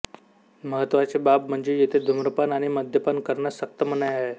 महत्त्वाची बाब म्हणजे येथे धूम्रपान आणि मद्यपान करण्यास सक्त मनाई आहे